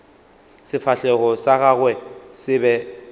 sefahlego sa gagwe se be